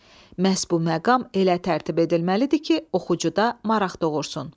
Məhz bu məqam elə tərtib edilməlidir ki, oxucuda maraq doğursun.